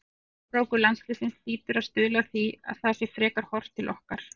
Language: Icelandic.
Árangur landsliðsins hlýtur að stuðla að því að það sé frekar horft til okkar.